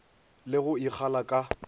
le go e kgala ka